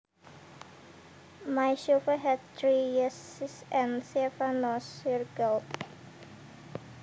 My survey had three yeses and seven nos circled